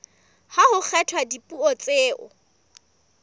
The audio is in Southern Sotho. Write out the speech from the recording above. ha ho kgethwa dipuo tseo